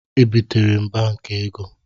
E bịtere m Banki ego